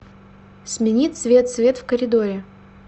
смени цвет свет в коридоре